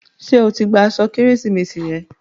Ṣé o ti gba igi Kérésìmesì rẹ?